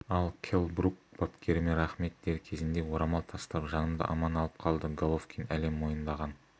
ал келл брук бапкеріме рахмет дер кезінде орамал тастап жанымды аман алып қалды головкин әлем мойындаған